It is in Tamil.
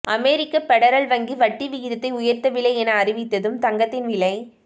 அமெரிக்க ஃபெடரல் வங்கி வட்டி விகிதத்தை உயர்த்தவில்லை என அறிவித்ததும் தங்கத்தின் விலை